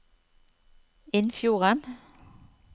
Innfjorden